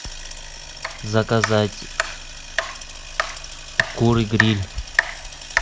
заказать куры гриль